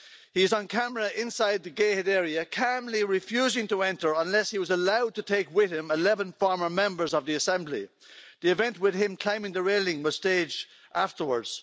He's on camera inside the gated area, calmly refusing to enter unless he was allowed to take with him 11 former members of the Assembly. The event with him climbing the railing was staged afterwards.